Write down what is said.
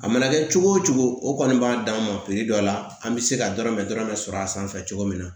A mana kɛ cogo o cogo o kɔni b'a d'an ma dɔ la an bɛ se ka dɔrɔmɛ dɔrɔmɛ sɔrɔ a sanfɛ cogo min na